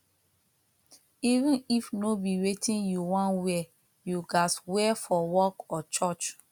even if no be wetin you won wear you gats wear for work or church